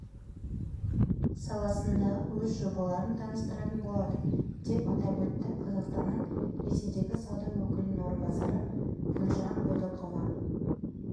саласындағы өз жобаларын таныстыратын болады деп атап өтті қазақстанның ресейдегі сауда өкілінің орынбасары гүлжан бодықова